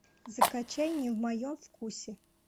закачай не в моем вкусе